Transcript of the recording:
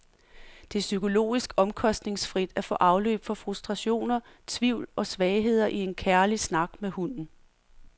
Det er psykologisk omkostningsfrit at få afløb for frustrationer, tvivl og svagheder i en kærlig snak med hunden.